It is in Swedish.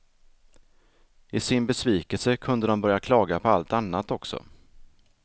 I sin besvikelse kunde de börja klaga på allt annat också.